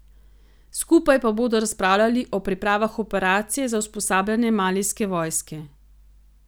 Skupaj pa bodo razpravljali o pripravah operacije za usposabljanje malijske vojske.